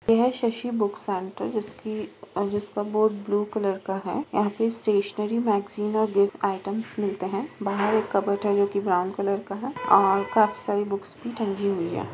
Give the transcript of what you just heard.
ये है Shashi book centre है जिसकी जिसका बोर्ड ब्लू कलर का है। यहां पे स्टेशनरी मैगजीन और गिफ्ट आइटमस मिलते हैं। बाहर एक कबड़ है जो कि ब्राउन कलर का है और काफी सारी बुक्स भी टंगी हुई है।